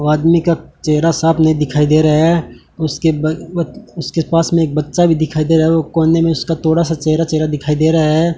वो आदमी का चेहरा साफ नहीं दिखाई दे रहा है उसके ब उसके पास में एक बच्चा भी दिखाई दे रहा वो कोने में उसका थोड़ा सा चेहरा चेहरा दिखाई दे रहा है।